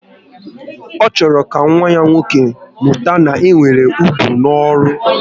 Ọ chọrọ ka nwa ya nwoke mụta na e nwere ugwu n'ọrụ